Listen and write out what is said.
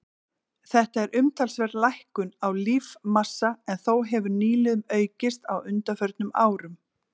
Þetta er umtalsverð lækkun á lífmassa en þó hefur nýliðun aukist á undanförnum árum.